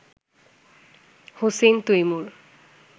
Hossain Taimur